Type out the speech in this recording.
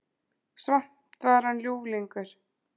Samt var hann ljúflingur.